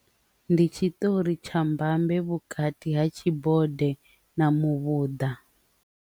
Ndi tshiṱori tsha mbambe vhukati ha tshibode na muvhuḓa.